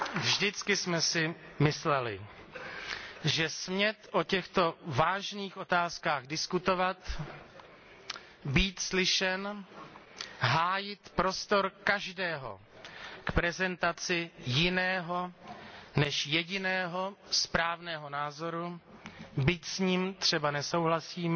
Vždycky jsme si mysleli, že smět o těchto vážných otázkách diskutovat, být slyšen, hájit prostor každého k prezentaci jiného, než jediného správného názoru, byť s ním třeba nesouhlasíme,